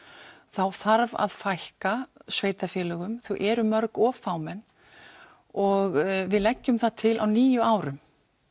þá þarf að fækka sveitarfélögum þau eru mörg of fámenn og við leggjum það til á níu árum